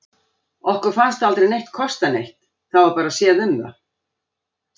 Okkur fannst aldrei neitt kosta neitt, það var bara séð um það.